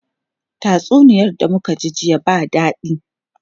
Tatsuniyar da muka ji jiya ba dadi.